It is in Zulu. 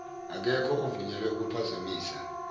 akekho ovunyelwe ukuphazamisa